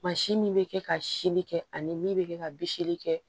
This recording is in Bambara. min bɛ kɛ ka sili kɛ ani min bɛ kɛ ka bisiki kɛ